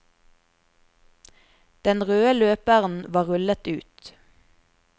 Den røde løperen var rullet ut.